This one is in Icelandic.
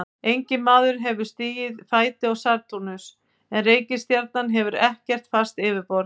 Enginn maður hefur stigið fæti á Satúrnus en reikistjarnan hefur ekkert fast yfirborð.